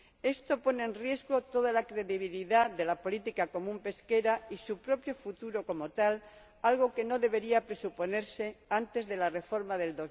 Esto pone en riesgo toda la credibilidad de la Política Pesquera Común y su propio futuro como tal, algo que no debería presuponerse antes de la reforma de